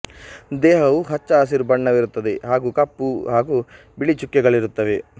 ದೇಹವು ಹಚ್ಚ ಹಸಿರು ಬಣ್ಣವಿರುತ್ತದೆ ಹಾಗೂ ಕಪ್ಪು ಹಾಗೂ ಬಿಳಿ ಚುಕ್ಕೆಗಳಿರುತ್ತವೆ